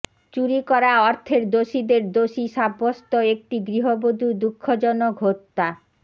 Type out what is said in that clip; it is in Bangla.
চুরি করা অর্থের দোষীদের দোষী সাব্যস্ত একটি গৃহবধূ দুঃখজনক হত্যা